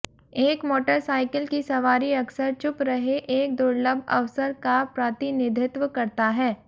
एक motorcycle की सवारी अक्सर चुप रहे एक दुर्लभ अवसर का प्रतिनिधित्व करता है